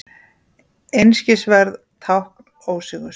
Einskisverð tákn ósigurs.